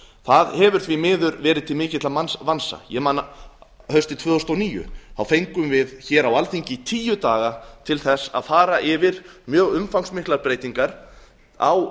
það hefur því miður verið til mikilla vansa ég man haustið tvö þúsund og níu þá fengum við hér á alþingi tíu daga til að fara yfir mjög umfangsmiklar breytingar á